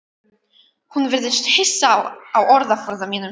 Hún virðist hissa á orðaforða mínum.